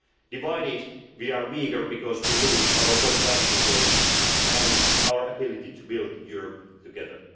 Divided we are weaker, because we lose our common value base and our ability to build Europe together.